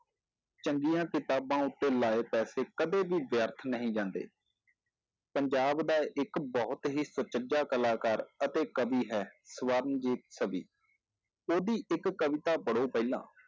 ਚੰਗੀਆਂ ਕਿਤਾਬਾਂ ਉੱਤੇ ਲਾਏ ਪੈਸੇ ਕਦੇ ਵੀ ਵਿਅਰਥ ਨਹੀਂ ਜਾਂਦੇ ਪੰਜਾਬ ਦਾ ਇੱਕ ਬਹੁਤ ਹੀ ਸੁਚੱਜਾ ਕਲਾਕਾਰ ਅਤੇ ਕਵੀ ਹੈ ਸਵਰਨਜੀਤ ਕਵੀ, ਉਹਦੀ ਇੱਕ ਕਵਿਤਾ ਪੜ੍ਹੋ ਪਹਿਲਾਂ